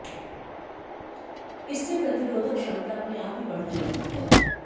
इससे प्रतिरोधक क्षमता अपने आप ही बढ़ने लगती है